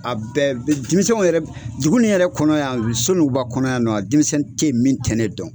A bɛɛ denmisɛnw yɛrɛ duguni yɛrɛ kɔnɔ yan, sonuguba kɔnɔ yan nɔ, denmisɛnni ten min tɛ ne dɔn.